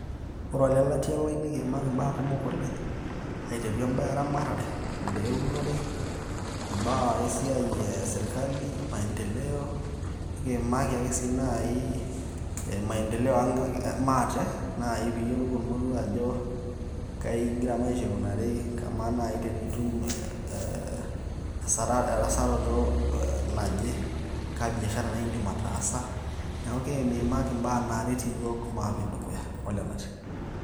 Ore olelatia lai nikiimaki imbaa kumok oleng', aiteru imbaa eramatare, imbaa eunore, imbaa esiai e serkali, maendeleo, nekiimaki ake sii nai maendeleo aang' maate nai piiyolou ormoruo ajo kaingira maisha aikunari, kamaa nai tenitum erasarato naje, kaa biashara naiindim ataasa, naake kiimimaki imbaa naaret iyiok maape dukuya olelatia.